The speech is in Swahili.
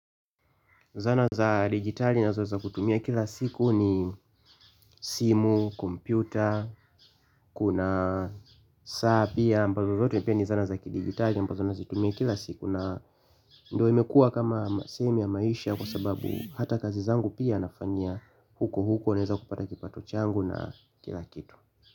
Zana za digitali nazo za kutumia kila siku ni simu, kompyuta, kuna saa pia ambalo zote pia ni zana za kidigitali ambazo nazitumia kila siku na ndo imekuwa kama simu ya maisha kwa sababu hata kazi zangu pia nafanyia huko huko naeza kupata kipato changu na kila kitu.